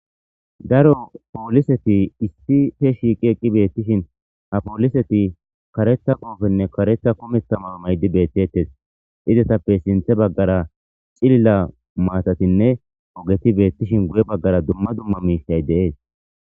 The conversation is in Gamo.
daro pooliseti issi fe shiiqi eqqi beettishin a pooliseti karetha qoofenne karetha kometamaw maydi beettettes idetappe sinthe baggara cilila maatatinne ogeti beettishin guye baggara dumma dumma miishay deees